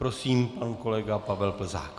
Prosím, pan kolega Pavel Plzák.